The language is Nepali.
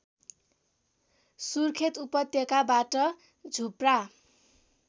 सुर्खेत उपत्यकाबाट झुप्रा